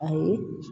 Ayi